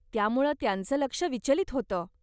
त्यामुळं त्यांचं लक्ष विचलीत होतं.